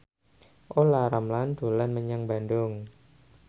Olla Ramlan dolan menyang Bandung